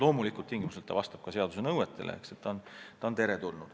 Loomulikult tingimusel, et ta vastab seaduse nõuetele.